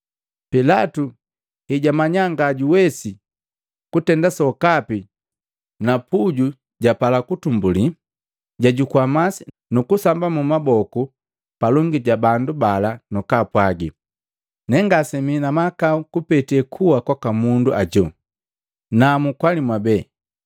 Pilatu hejwamanya ngajuwesi kutenda sokapi na puju japala kutumbuli, jwajukua masi, nukusamba maboku palongi ja bandu bala nukupwaga, “Nengasemii na mahakau kupete kuwa kwaka mundu ajo, namu kwali mwabee.”